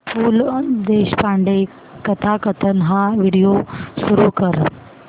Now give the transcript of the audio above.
पु ल देशपांडे कथाकथन हा व्हिडिओ सुरू कर